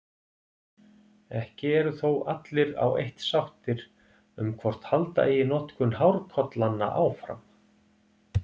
Ekki eru þó allir á eitt sáttir um hvort halda eigi notkun hárkollanna áfram.